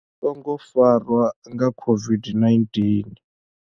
songo farwa nga COVID-19.